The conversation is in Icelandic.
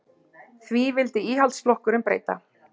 Því vildi Íhaldsflokkurinn breyta